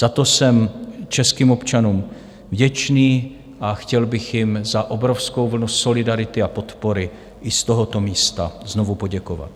Za to jsem českým občanům vděčný a chtěl bych jim za obrovskou vlnu solidarity a podpory i z tohoto místa znovu poděkovat.